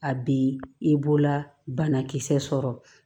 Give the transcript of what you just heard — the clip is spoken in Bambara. A bi i bolola banakisɛ sɔrɔ